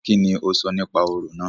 Kíni o sọ nípa orò náà?